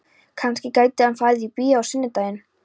Kannski gæti hann farið í bíó á sunnudaginn?